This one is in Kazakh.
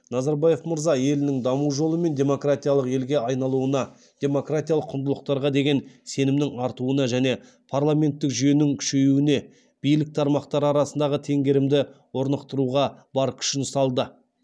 назарбаев мырза елінің даму жолымен демократиялық елге айналуына демократиялық құндылықтарға деген сенімнің артуына және парламенттік жүйенің күшеюіне билік тармақтары арасындағы теңгерімді орнықтыруға бар күшін салды